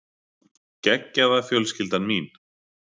Geggjaða fjölskyldan mín.